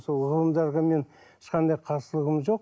сол ғылымдарға мен ешқандай қарсылығым жоқ